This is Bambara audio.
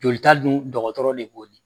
Jolita dun dɔgɔtɔrɔ de b'o